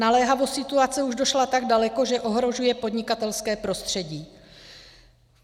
Naléhavost situace už došla tak daleko, že ohrožuje podnikatelské prostředí.